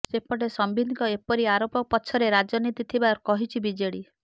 ସେପଟେ ସମ୍ବିତଙ୍କ ଏପରି ଆରୋପ ପଛରେ ରାଜନୀତି ଥିବା କହିଛି ବିଜେଡି